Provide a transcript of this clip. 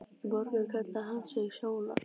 Í morgun kallaði hann sig Sónar.